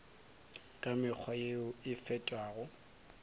ka mekgwa yeo e fetago